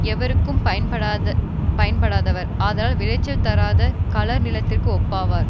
எவர்க்கும் பயன்படாதவர் ஆதலால் விளைச்சல் தராத களர் நிலத்திற்கு ஒப்பாவர்